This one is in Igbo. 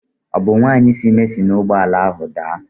Ọ bụ nwanyị dị ime si na Igbo ala ahụ daa?